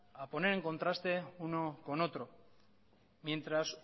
a poner en contraste uno con otro mientras